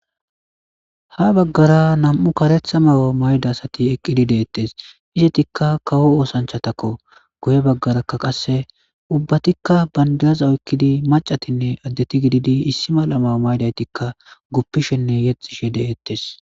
Ha baggara nam7u karetha mayidi eqqidi de7eetes izetika kawo oosanchatako guye baggaraka ubbatika bandiraza oyqidi maccatinne addeti issippe gididinne guppishene yexishe de7etes.